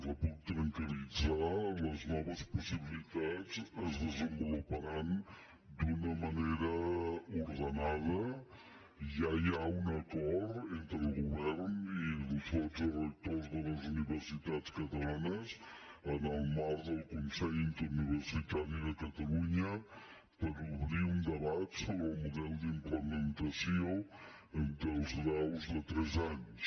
la puc tranquil·zar les noves possibilitats es desenvoluparan d’una ma nera ordenada ja hi ha un acord entre el govern i els dotze rectors de les universitats catalanes en el marc del consell interuniversitari de catalunya per obrir un debat sobre el model d’implementació dels graus de tres anys